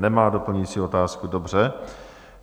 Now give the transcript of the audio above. Nemá doplňující otázku, dobře.